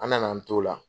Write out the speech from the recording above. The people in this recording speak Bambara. An nana an t'o la